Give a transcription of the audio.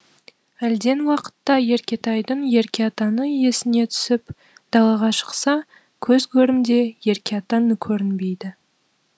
әлден уақытта еркетайдың еркеатаны есіне түсіп далаға шықса көз көрімде еркеатан көрінбейді